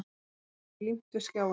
Hverfið er límt við skjáinn.